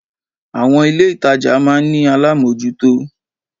Àwon ilé ìtajà máa ní alámójútó